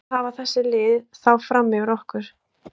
Hvað hafa þessi lið þá fram yfir okkur?